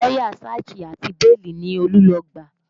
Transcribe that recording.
Lọ́yà sáàjì àti bíèlì ni Olú lọ gbà